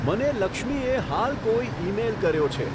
મને લક્ષ્મીએ હાલ કોઈ ઈમેઈલ કર્યો છે